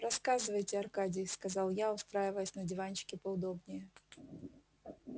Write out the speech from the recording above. рассказывайте аркадий сказал я устраиваясь на диванчике поудобнее